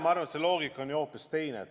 Ma arvan, et loogika on hoopis teine.